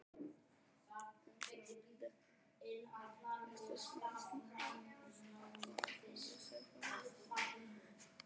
Um framvindu happdrættis-málsins á Alþingi segir prófessor